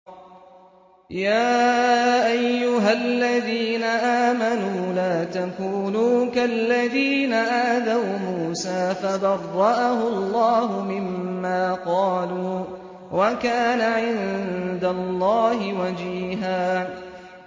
يَا أَيُّهَا الَّذِينَ آمَنُوا لَا تَكُونُوا كَالَّذِينَ آذَوْا مُوسَىٰ فَبَرَّأَهُ اللَّهُ مِمَّا قَالُوا ۚ وَكَانَ عِندَ اللَّهِ وَجِيهًا